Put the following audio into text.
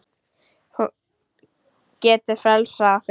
Hún getur frelsað okkur.